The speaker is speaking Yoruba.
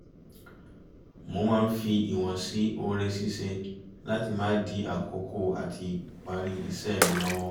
mo máa ń fi ìwọ̀n sí ore ṣíṣe láti má dí àkókò àti parí iṣẹ́ mi lọ́wọ́